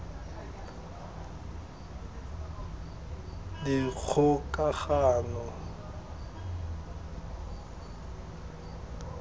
dikgokagano